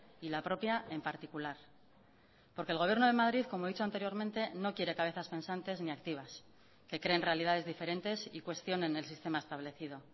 y la propia en particular porque el gobierno de madrid como he dicho anteriormente no quiere cabezas pensantes ni activas que creen realidades diferentes y cuestionen el sistema establecido